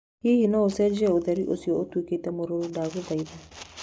Hihi no ũcenjie ũtheri ũcio ũtuĩke wa mũruru ndagũthaitha?